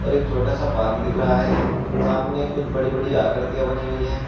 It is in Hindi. और एक छोटा-सा पार्क दिख रहा है सामने कुछ बड़ी-बड़ी आकृतियां बनी हुई हैं।